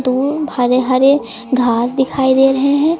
दूब हरे हरे घास दिखाई दे रहे हैं।